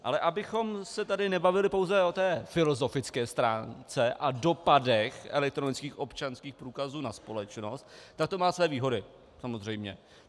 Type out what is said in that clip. Ale abychom se tady nebavili pouze o té filozofické stránce a dopadech elektronických občanských průkazů na společnost, tak to má své výhody, samozřejmě.